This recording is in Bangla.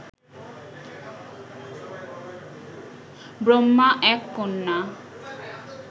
ব্রহ্মা এক কন্যা